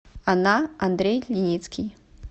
она андрей леницкий